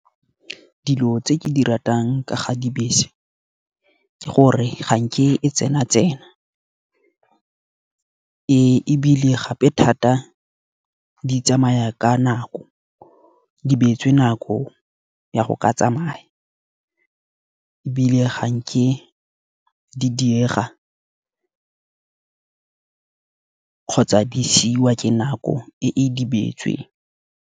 Dilo tse ke di ratang ka ga dibese, ke gore ga nke e tsena tsena. Ebile gape thata di tsamaya ka nako, di beetswe nako ya go ka tsamaya. Ebile ga nke di diega kgotsa di siwa ke nako e e dibeetsweng.